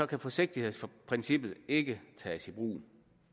kan forsigtighedsprincippet ikke tages i brug